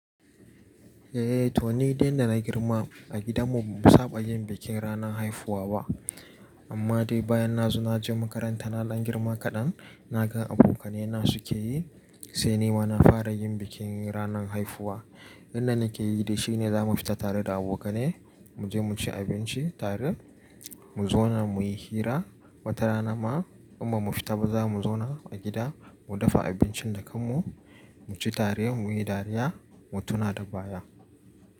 Eh, to ni din da na girma a gidan mu ba mu saba yin bikin ranan haifuwa ba. Amma dai bayan na zo na je makaranta na ɗan girma kaɗan, na gan abokanai na su ke yi, sai ni ma na fara yin bikin ranan haifuwa. Inda nake yi dai shine za mu fita tare da abokanai, mu je mu ci abinci tare, mu zauna mu yi hira, wata rana ma in ba mu fita ba za mu zauna a gida mu dafa abincin da kanmu, mu ci tare mu yi dariya mu tuna da baya.